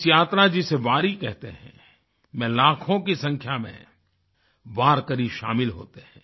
इस यात्रा जिसे वारी कहते हैं में लाखों की संख्या में वारकरी शामिल होते हैं